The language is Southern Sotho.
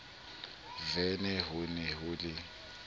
vene ho ne ho le